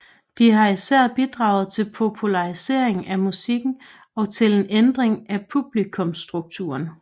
De har især bidraget til popularisering af musikken og til en ændring af publikumstrukturen